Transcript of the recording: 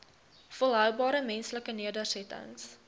volhoubare menslike nedersettings